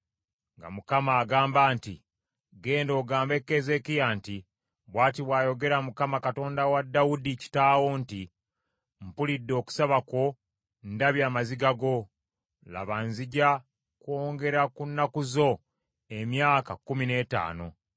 nga Mukama agamba nti, “Genda ogambe Keezeekiya nti, ‘Bw’ati bw’ayogera Mukama Katonda wa Dawudi kitaawo nti, Mpulidde okusaba kwo, ndabye amaziga go: laba nzija kwongera ku nnaku zo emyaka kkumi n’ettaano.